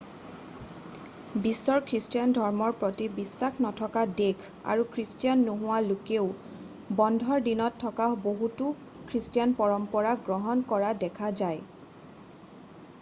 বিশ্বৰ খ্ৰীষ্টান ধৰ্মৰ প্ৰতি বিশ্বাস নথকা দেশ আৰু খ্ৰীষ্টান নোহোৱা লোকেও বন্ধৰ দিনত থকা বহুতো খ্ৰীষ্টান পৰম্পৰা গ্ৰহণ কৰা দেখা যায়